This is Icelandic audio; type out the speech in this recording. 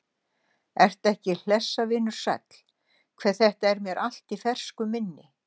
Ertu ekki hlessa, vinur sæll, hve þetta er mér allt ferskt í minni?